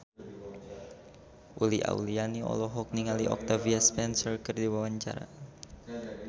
Uli Auliani olohok ningali Octavia Spencer keur diwawancara